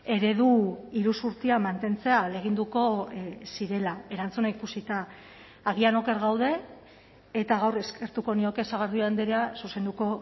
eredu iruzurtia mantentzea ahaleginduko zirela erantzuna ikusita agian oker gaude eta gaur eskertuko nioke sagardui andrea zuzenduko